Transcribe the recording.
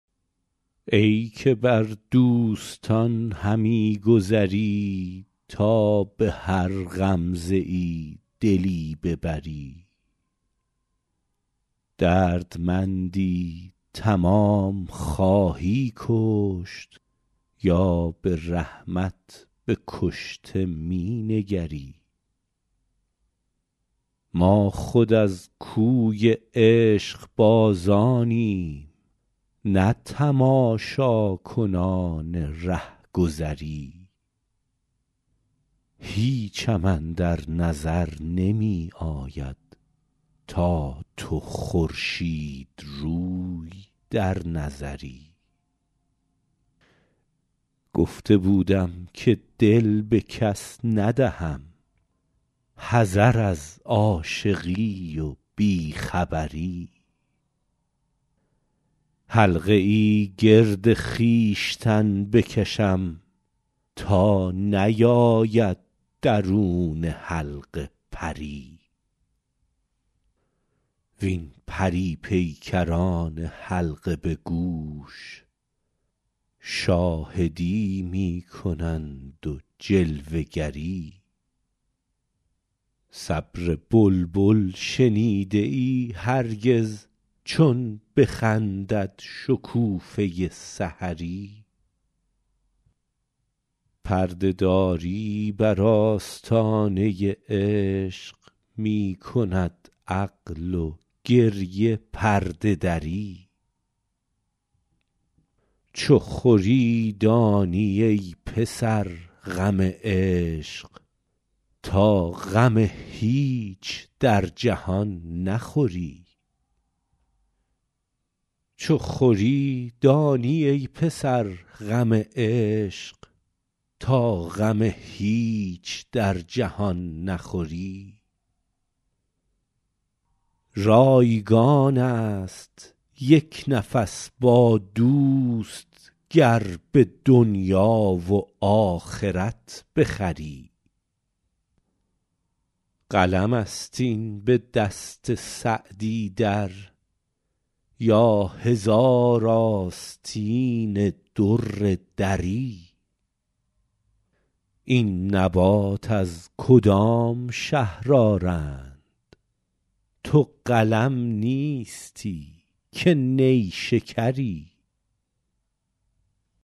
ای که بر دوستان همی گذری تا به هر غمزه ای دلی ببری دردمندی تمام خواهی کشت یا به رحمت به کشته می نگری ما خود از کوی عشقبازانیم نه تماشاکنان رهگذری هیچم اندر نظر نمی آید تا تو خورشیدروی در نظری گفته بودم که دل به کس ندهم حذر از عاشقی و بی خبری حلقه ای گرد خویشتن بکشم تا نیاید درون حلقه پری وین پری پیکران حلقه به گوش شاهدی می کنند و جلوه گری صبر بلبل شنیده ای هرگز چون بخندد شکوفه سحری پرده داری بر آستانه عشق می کند عقل و گریه پرده دری چو خوری دانی ای پسر غم عشق تا غم هیچ در جهان نخوری رایگان است یک نفس با دوست گر به دنیا و آخرت بخری قلم است این به دست سعدی در یا هزار آستین در دری این نبات از کدام شهر آرند تو قلم نیستی که نیشکری